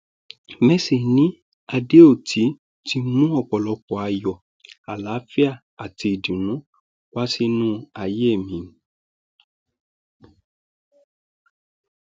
mercy ni adéótì ti mú ọpọlọpọ ayọ àlàáfíà àti ìdùnnú wá sínú ayé mi mi